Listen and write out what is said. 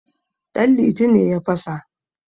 danliti ne ya fasa